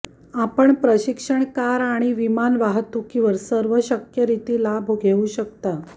आपण प्रशिक्षण कार आणि विमान वाहतुकीवर सर्व शक्य रीती लाभ घेऊ शकता